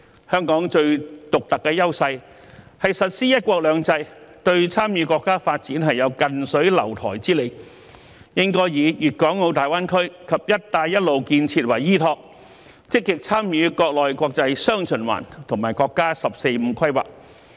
香港最獨特的優勢是實施"一國兩制"，對參與國家發展有近水樓台之利，因此香港應該以粵港澳大灣區及"一帶一路"建設為依託，積極參與國內國際"雙循環"和國家"十四五"規劃。